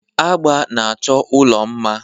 Agba na-achọ ụlọ mma.